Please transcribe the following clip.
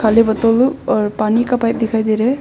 खाली बोतल दो और पानी का पाइप दिखाई दे रहा है।